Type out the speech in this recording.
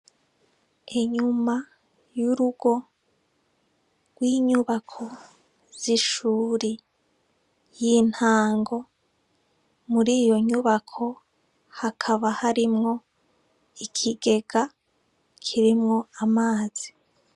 Inyuma y’urugo rw’inyubako z’ishure y’intango, muriyo nyubako hakaba harimwo ikigega kirimwo amazi.